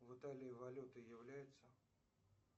в италии валютой является